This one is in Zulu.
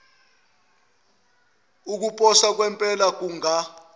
ukuposa kwempela kunga